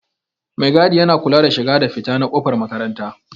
Maigadi yana kula da shiga da fita na kofar makaranta.